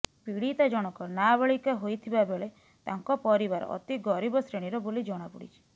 ପୀଡ଼ିତା ଜଣକ ନାବାଳିକା ହୋଇଥିବା ବେଳେ ତାଙ୍କ ପରିବାର ଅତି ଗରିବ ଶ୍ରେଣୀର ବୋଲି ଜଣାପଡ଼ିଛି